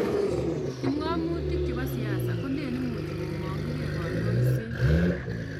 kipngomutinik chebo siase koleen imuchi komanginikei kondoisee